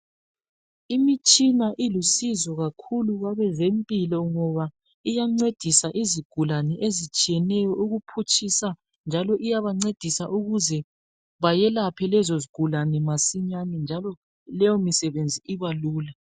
Imitshina ilusizo kakhulu kwabezempilo ngoba iyancedisa izigulane ezitshiyeneyo ukuphutshisa njalo iyabancedisa ukuze bayelaphe lezo zigulane masinyane njalo leyo misebenzi ibelula.